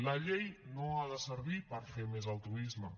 la llei no ha de servir per fer més altruisme